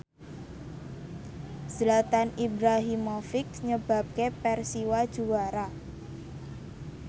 Zlatan Ibrahimovic nyebabke Persiwa juara